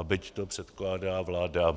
A byť to předkládá vláda